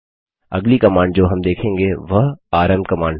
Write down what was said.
अगली कमांड जो हम देखेंगे वह आरएम कमांड है